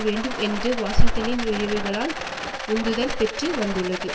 வேண்டும் என்ற வாஷிங்டனின் விழைவுகளால் உந்துதல் பெற்று வந்துள்ளது